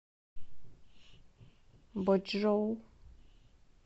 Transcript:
бочжоу